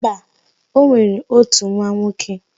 Mba, o nwere ótù nwa nwoke.